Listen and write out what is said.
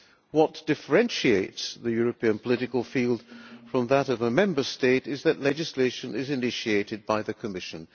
What differentiates the European political field from that of a Member State is that legislation is initiated by the Commission.